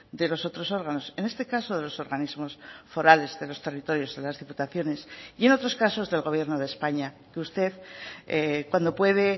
de los otros órganos en este caso de los organismos forales de los territorios de las diputaciones y en otros casos del gobierno de españa que usted cuando puede